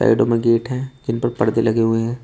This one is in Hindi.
बेडरूम में गेट है जिन पर परदे लगे हुए हैं।